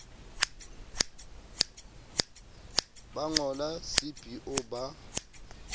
ba ngo le cbo ba